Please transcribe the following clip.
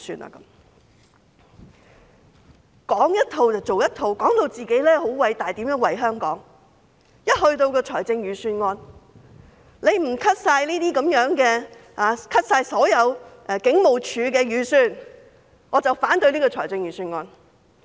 他們講一套做一套，說到自己很偉大，說怎樣為香港，說不削減警務處的所有預算便會反對預算案。